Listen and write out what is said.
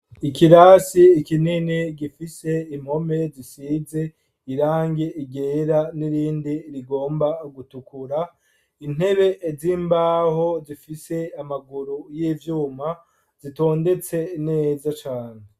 Ikirasi kinini gifise impome zisize irangi ryera, n'irindi rigomba gutukura. Intebe z'imbaho zifise amaguru y'ivyuma zitondetse neza cane.